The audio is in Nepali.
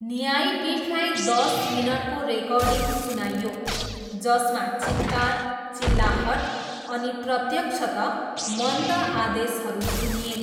न्यायपीठलाई दस मिनटको रेकर्डिङ सुनाइयो जसमा चित्कार, चिल्लाहट अनि प्रत्यक्षतः मन्द आदेशहरू सुनिए।